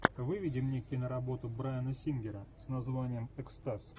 выведи мне киноработу брайана сингера с названием экстаз